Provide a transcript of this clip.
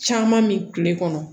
Caman min tile kɔnɔ